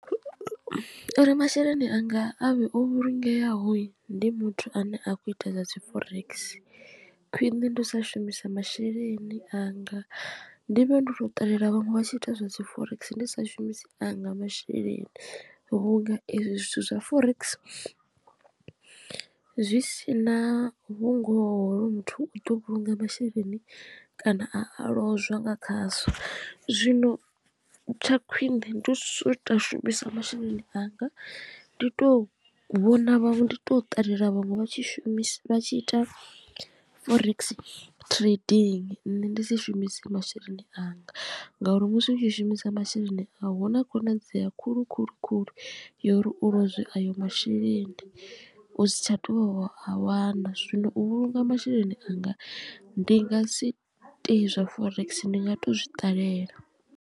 Uri masheleni anga a vhe o vhulungeaho ndi muthu ane a khou ita zwa dzi forex khwiṋe ndi u sa shumisa masheleni anga ndi vhe ndo tou ṱalela vhaṅwe vha tshi ita zwa dzi forex ndi sa shumisi anga masheleni. Vhunga ezwi zwithu zwa forex zwi sina vhungoho muthu u ḓo vhulunga masheleni kana a lozwa nga khazwo zwino tsha khwine ndi u sa shumisa masheleni anga ndi to vhona ndi to ṱalela vhaṅwe vha tshi shumisa vha tshi ita forex trading nṋe ndi si shumise masheleni anga ngauri musi u tshi shumisa masheleni a u huna khonadzeo ya khulu khulu khulu uri u lozwe ayo masheleni u si tsha to u a wana zwino u vhulunga masheleni anga ndi nga si tei zwa forex ndi nga to zwi ṱalela.